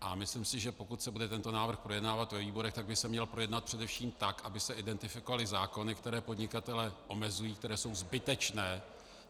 A myslím si, že pokud se bude tento návrh projednávat ve výborech, tak by se měl projednat především tak, aby se identifikovaly zákony, které podnikatele omezují, které jsou zbytečné.